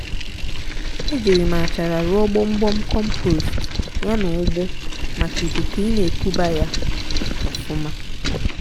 ejiri m achara rụọ gbọmgbọm compost ya na ụgbụ maka ikuku ina ekuba ya ọfụma.